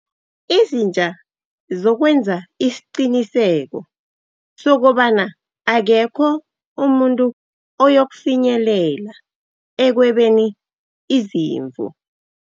Izitja zokwenza isiqiniseko sokobana akekho umuntu oyokufinyelela ekwebeni izimvu.